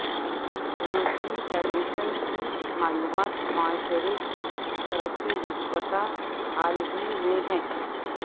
روسی فیڈریشن کی معلومات معاشرے کی ترقی نسبتا حال ہی میں ہے